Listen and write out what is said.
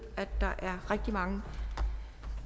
der er rigtig mange